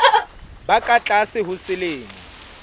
ba ka tlase ho selemo